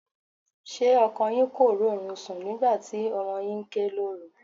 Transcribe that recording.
Ṣé ọkọ yín kò rórun sùn nígbà tí ọmọ yín ké lóru?